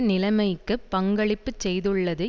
நிலமைக்குப் பங்களிப்பு செய்துள்ளது